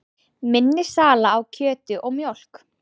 Minni sala á kjöti og mjólk